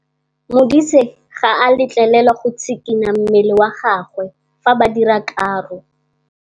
Modise ga a letlelelwa go tshikinya mmele wa gagwe fa ba dira karô.